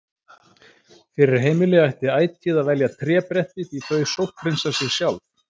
Fyrir heimili ætti ætíð að velja trébretti því þau sótthreinsa sig sjálf.